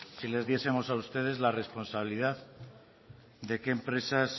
si les diesemos a ustedes la responsabilidad de qué empresas